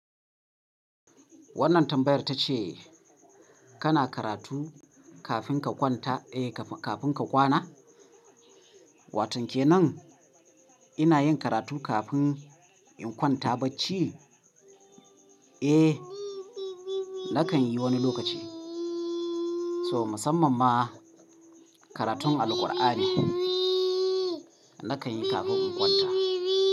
Wannan tambayar ta ce, kana karatu kafin ka kwanta, eh kafin ka kwana? Wa ton ke nan ina yin karatu kafin in kwanta bacci? Eh, nakan yi wani lokaci. Toh, musamman ma, karatun Alqur'ani, nakan yi kafin in kwanta.